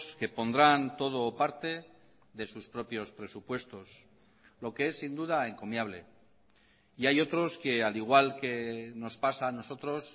que pondrán todo o parte de sus propios presupuestos lo que es sin duda encomiable y hay otros que al igual que nos pasa a nosotros